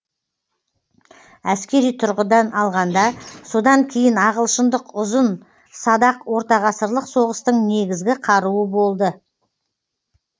әскери тұрғыдан алғанда содан кейін ағылшындық ұзын садақ ортағасырлық соғыстың негізгі қаруы болды